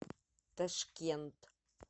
ташкент